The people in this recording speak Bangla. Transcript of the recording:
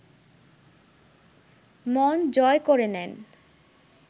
মন জয় করে নেন